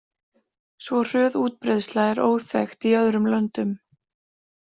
Svo hröð útbreiðsla er óþekkt í öðrum löndum.